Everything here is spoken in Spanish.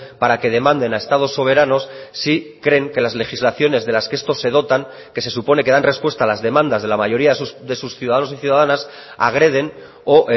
para que demanden a estados soberanos si creen que las legislaciones de las que estos se dotan que se supone que dan respuesta a las demandas de la mayoría de sus ciudadanos y ciudadanas agreden o